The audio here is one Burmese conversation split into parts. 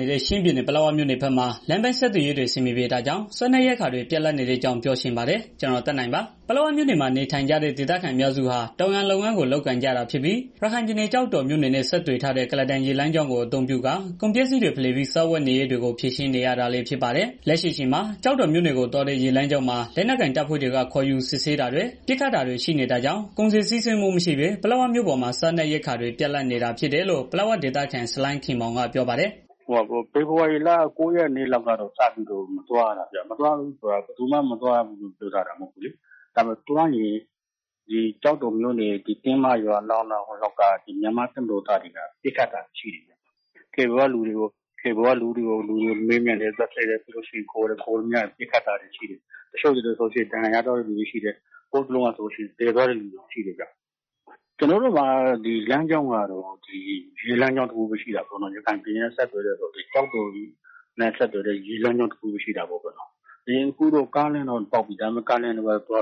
နေတဲ့ ချင်းပြည်နယ် ပလက်ဝမြို့နယ်ဘက်မှာ လမ်းပန်းဆက်သွယ်ရေးတွေအဆင်မပြေတာကြောင့် စားနပ်ရိက္ခာတွေ ပြတ်လပ်နေတဲ့အကြောင်းကို ဗွီအိုအေ မြန်မာပိုင်းသတင်းထောက် ကိုသက်နိုင်က ပြောပြပေးပါမယ်။ ပလက်ဝမြို့နယ်မှာ နေထိုင်ကြတဲ့ ဒေသခံအများစုဟာ တောင်ယာလုပ်ငန်းကို လုပ်ကိုင်ကြတာဖြစ်ပြီး ရခိုင်ပြည်နယ် ကျောက်တော်မြို့နယ်နဲ့ ဆက်သွယ်ထားတဲ့ ကုလားတန်ရေလမ်းကြောင်းကို အသုံးပြုကာ ကုန်ပစ္စည်းတွေ ဖလှယ်ပြီး စားဝတ်နေရေးတွေကို ဖြေရှင်းနေရတာလည်း ဖြစ်ပါတယ်။ လက်ရှိအချိန်မှာ ကျောက်တော်မြို့နယ်ကို သွားတဲ့ ရေလမ်းကြောင်းမှာ လက်နက်ကိုင်တပ်ဖွဲ့တွေက ခေါ်ယူစစ်ဆေးတာတွေ ပစ်ခတ်တာတွေ ရှိနေတာကြောင့် ကုန်စည်စီးဆင်းမှုမရှိဘဲ ပလက်ဝမြို့ပေါ်မှာ စာနပ်ရိက္ခာတွေ ပြတ်လပ်နေတယ်လို့ ပလက်ဝဒေသခံ ဆလိုင်းခင်မောင်က ပြောပါတယ်။ "ဖေဖော်ဝါရီလ ၉ ရက်လောက်ကတည်းက မသွားရတာဗျ။ မသွားရဘူးဆိုတာကလည်း ဘယ်သူမှတားမြစ်ထားတာမျိုး မဟုတ်ဘူး။ ဒါပေမဲ့ သွားရင် ကျောက်တော်မြို့နယ် တင်းမရွာ နားလောက် မြန်မာ့တပ်မတော်သားတွေက ပစ်ခတ်တာတွေရှိတယ်။ လှေပေါ်က လူတွေကိုခေါ်တယ် မေးမြန်းတယ်၊ သတ်ဖြတ်တယ်။ ပစ်ခတ်တာတွေရှိတယ် တချို့ဆိုရင် ဒဏ်ရာ ရသွားတာတွေရှိတယ်။ ဟိုတစ်လောကဆိုရင် သေသွားတဲ့ သူတွေတောင်ရှိတယ်။ ကျနော်တို့မှာ လမ်းကြောင်းက ဒီရေလမ်းကြောင်းတစ်ခုပဲ ရှိတာပေါ့နော်။ ရခိုင်ပြည်နယ်နဲ့ ဆက်သွယ်ထားတာပေါ့။ အခုက ကားလမ်းကတော့ ပေါက်နေပြီ သွား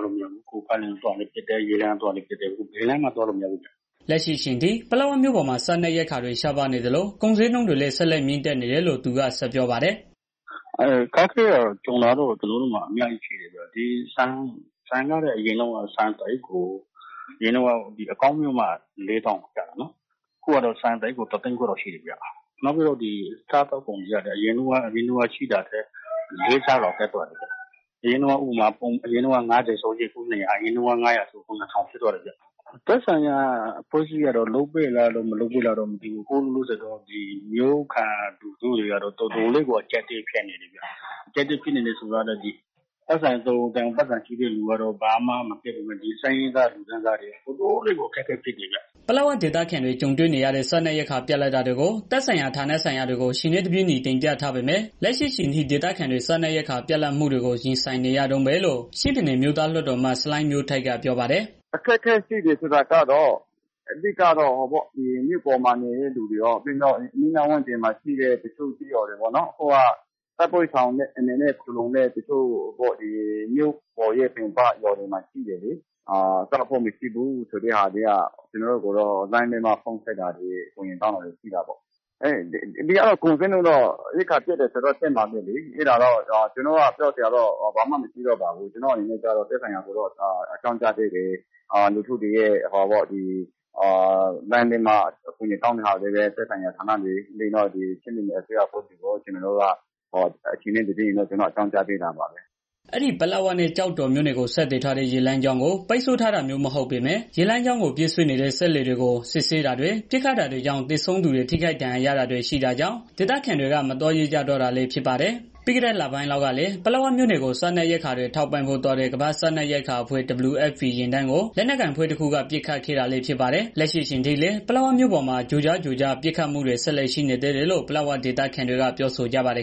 လို့မရဘူး။ ကုန်းလမ်းကသွားရင်လည်း ပစ်တယ်၊ ရေလမ်းကသွားရင်လည်း ပစ်တယ် ဘယ်ကမှ သွားလို့မရဘူးအခုက။" လက်ရှိအချိန်ထိ ပလက်ဝမြို့ဘက်မှာ စားနပ်ရိက္ခာတွေ ရှားပါးနေသလို ကုန်းဈေးနှုန်းတွေလည်း ဆက်လက်မြင့်တက်နေတယ်လို့ သူကဆက်ပြောပါတယ်။ "အခက်အခဲကတော့ ကျနော်တို့မှာ အများကြီးရှိတယ်။ ဆန်ဆိုရင်အရင်တုန်းက အကောင်းမျိုးမှ ၄၀,၀၀၀ လောက်ကျတာ အခုကတော့ ဆန်တစ်အိတ်ကို ၁၀၀,၀၀၀ ကျော်လောက်ရှိတယ်ဗျာ။ နောက်ပြီးတော့ စားသောက်ကုန်တွေကလည်း အရင်တုန်းက ရှိတာထက် ၄ ဆလောက်တက်သွားတယ်ဗျာ။ အရင်တုန်းက ၅၀ ဆိုရင် အခု ၂၀၀ အရင်တုန်းက ၅၀၀ ဆိုရင် အခု ၂,၀၀၀ ဖြစ်သွားတယ်။ သက်ဆိုင်ရာအဖွဲ့အစည်းတွေက လုပ်ပေးလား၊ မလုပ်ပေးလားတော့ မသိဘူး။ မြို့ခံတွေကတော့ တော်တေ်ာလေးကို အကျပ်အတည်း ဖြစ်နေကြတယ်ဗျာ။ ပိုက်ဆံရှိတဲ့ သူတွေက သိပ်မခက်ခဲပေမဲ့ ဆင်းရဲသားတွေကတော့ တော်တော်လေးကို အခက်အခဲဖြစ် တယ်ဗျာ။" ပလက်ဝဒေသခံတွေ ကြုံတွေ့နေရတဲ့ စားနပ်ရိက္ခာပြတ်လပ်တာတွေကို သက်ဆိုင်ရာဌာနဆိုင်ရာတွေကို အချိန်နဲ့ တပြေးညီ တင်ပြထားပေမဲ့ လက်ရှိအချိန်ထိ ဒေသခံတွေ စားနပ်ရိက္ခာပြတ်လပ်တာတွေကို ရင်ဆိုင်နေရတုန်းပဲလို့ ချင်းပြည်နယ် အမျိုးသားလွှတ်တော်အမတ် ဆလိုင်မျိုးထိုက်က ပြောပါတယ်။ "အခက်အခဲရှိတယ်ဆိုတာက မြို့ပေါ်မှာနေတဲ့ သူတွေရော ပြီးတော့အနီးအနားကျေးရွာတွေမှာ နေတဲ့သူတွေရော ကျေးရွာတွေမှာ တိုက်ပွဲရှောင်တဲ့အနေနဲ့ နေတဲ့ တချို့ မြို့ပြင်ပကျေးရွာတွေမှာ ရှိတယ်လေ။ သူတို့မှာ စားဖို့မရှိဘူးဆိုပြီးတော့ ကျနော့်ကိုလှမ်းပြီးတော့ ဖုန်းနဲ့ အကြောင်းကြားတာတွေ ရှိတယ်။ ကုန်ဈေးနှုန်းက ရိက္ခာပြတ်တယ်ဆိုတော့ တက်မှာပဲလေ။ ကျနော်ကတော့ သိပ်ပြောစရာ မရှိဘူး။ ကျနော်ကတော့ သက်ဆိုင်ရာ တွေကို အကြောင်းကြားပေးတယ်။ လူထုတွေ လှမ်းပြီးတော့ အကူအညီတောင်းတာတွေကို ချင်းပြည်နယ် အစိုးရအဖွ့ဲ့ကိုရောက် အချိန်နဲ့ တပြေးညီအကြောင်းကြားပေးပါတယ်။" အဲဒီ ပလက်ဝနဲ့ ကျောက်တော်မြို့နယ်ကို ဆက်သွယ်ထားတဲ့ ရေလမ်းကြောင်းကို ပိတ်ဆို့ထားတာမဟုတ်ပေမယ့် ရေလမ်းကြောင်းပြေးဆွဲနေတဲ့ စက်လှေတွေကို စစ်ဆေးတာတွေ ပစ်ခတ်တာတွေကြောင့် သေဆုံးသူတွေ ထိခိုက် ဒဏ်ရာတာတွေ ရှိတာကြောင့် ဒေသခံတွေက မသွားရဲကြတော့တာလည်း ဖြစ်ပါတယ်။ ပြီးခဲ့လပိုင်းလောက်ကလည်း ပလက်ဝနယ်ကို စားနပ်ရိက္ခာတွေ ထောက်ပံ့ပေးဖို့ သွားတဲ့ ကမ္ဘာ့စားနပ်ရိက္ခာအဖွဲ့ WFP ယာဉ်တန်းက လက်နက်ကိုင်အဖွဲ့တွေက ပစ်ခတ်ခဲ့တာလည်းဖြစ်ပါတယ်။ လက်ရှိအချိန်ထိလည်း ပလက်ဝမြို့နယ်တွေမှာ ကြိုကြားကြိုကြား ပစ်ခတ်မှုတွေ ဆက်လက်ရှိနေသေးလို့ ပလက်ဝဒေသခံတွေက ပြောဆိုကြပါတယ်။